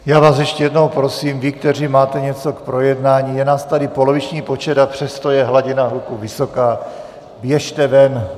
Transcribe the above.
Já vás ještě jednou prosím, vy, kteří máte něco k projednání, je nás tady poloviční počet, a přesto je hladina hluku vysoká, běžte ven.